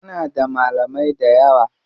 Muna da malamai dayawa.